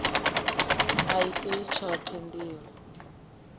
a i tei tshoṱhe ndivho